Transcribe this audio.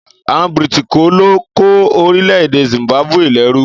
Àwon Brìtìkó lo ko orílẹ̀dẹ̀ Zimbabwe lẹ́rú.